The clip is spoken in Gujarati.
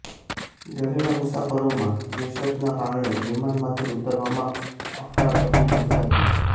ડરેલા મુસાફરોમાં દહેશતના કારણે વિમાનમાંથી ઉતરવામાં અફરાતફરી મચી હતી